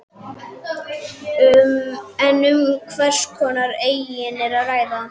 En um hvers konar eignir er að ræða?